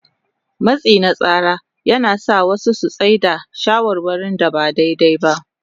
Matsi na tsara yana sa wasu su tsai da shawarwarin da ba daidai ba.